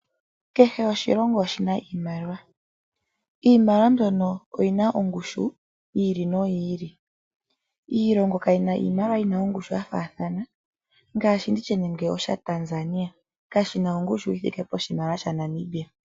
Kehe oshilongo oshina iimaliwa . Iimaliwa mbyono oyina ongushu yi ili no yi ili . Iilongo kayina iimaliwa yina ongushu ya faathana ngaashi nditye nande osha Tanzania kashina ongushu yi thike pu sha Namibia.